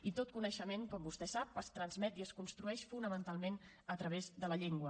i tot coneixement com vostè sap es transmet i es construeix fonamentalment a través de la llengua